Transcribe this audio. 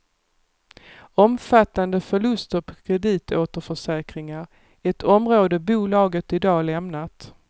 Omfattande förluster på kreditåterförsäkringar, ett område bolaget i dag lämnat.